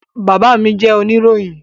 Bàbá mí jẹ́ oníròyìn